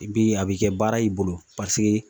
I bi a bi kɛ baara y'i bolo paseke